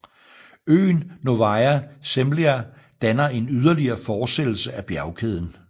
Øen Novaya Zemlya danner en yderligere fortsættelse af bjergkæden